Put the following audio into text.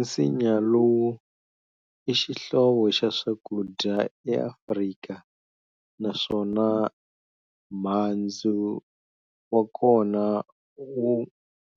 Nsinya lowu ixihlovo xa swakudya eAfrika, naswona muhandzu wa kona wu